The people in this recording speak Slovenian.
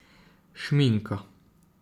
Šminka.